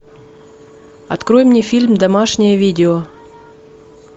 открой мне фильм домашнее видео